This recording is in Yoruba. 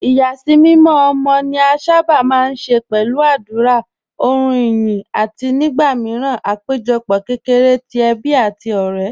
Ìyàsímímọ́ ọmọ ni a sábà máa ń ṣe pẹ̀lú àdúrà, orin ìyìn, àti nígbà míràn àpéjọpọ̀ kékeré ti ẹbí àti ọ̀rẹ́.